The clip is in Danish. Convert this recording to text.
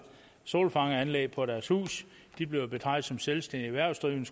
solfangeranlæg på deres hus blev betragtet som selvstændigt erhvervsdrivende